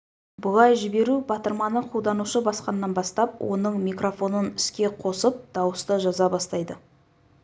бұлай жіберу батырманы қолданушы басқаннан бастап оның микрофонын іске қосып дауысты жаза бастайды